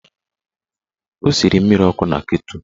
Ọ siri mmiri ọkụ na ketụl.